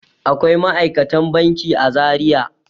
Akwai ma'aikatan banki a Zariya.